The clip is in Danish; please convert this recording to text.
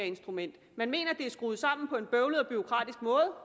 instrument man mener at er skruet sammen på en bøvlet og bureaukratisk måde